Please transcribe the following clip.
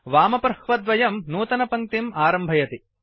वामप्रह्वद्वयं slash नूतनपङ्क्तिम् आरम्भयति